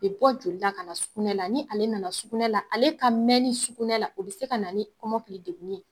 o bɛ bɔ joli la ka na sukunɛ la ni ale nana sukunɛ la ale ka mɛnni sukunɛ la o bɛ se ka na ni kɔmɔkili degunni ye.